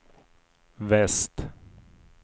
väst